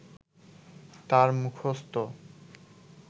তাঁর মুখস্থ